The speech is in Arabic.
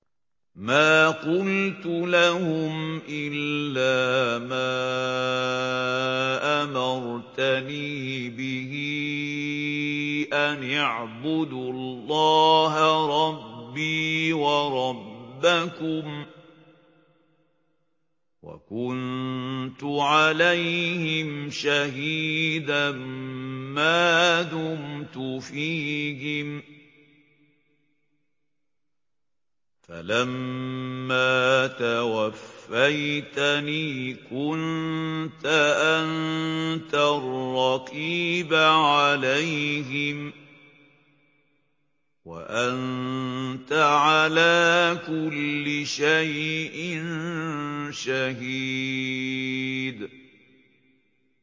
مَا قُلْتُ لَهُمْ إِلَّا مَا أَمَرْتَنِي بِهِ أَنِ اعْبُدُوا اللَّهَ رَبِّي وَرَبَّكُمْ ۚ وَكُنتُ عَلَيْهِمْ شَهِيدًا مَّا دُمْتُ فِيهِمْ ۖ فَلَمَّا تَوَفَّيْتَنِي كُنتَ أَنتَ الرَّقِيبَ عَلَيْهِمْ ۚ وَأَنتَ عَلَىٰ كُلِّ شَيْءٍ شَهِيدٌ